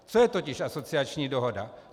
Co je totiž asociační dohoda?